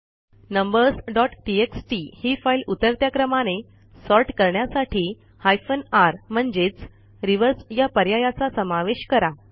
numbers dot TXT ही file उतरत्या क्रमाने सॉर्ट करण्यासाठी हायफेन र म्हणजेच रिव्हर्स या पर्यायाचा समावेश करा